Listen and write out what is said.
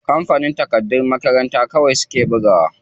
Kampanin littatafan makaranta kawai suke bugawa.